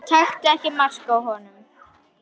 Taktu ekki mark á honum.